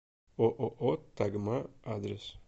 ооо тагма адрес